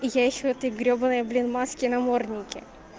я ещё в этой гребаной блин маске наморднике